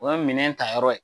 O ye minɛ ta yɔrɔ ye